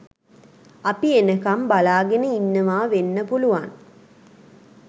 අපි එනකම් බලාගෙන ඉන්නවා වෙන්න පුලුවන්.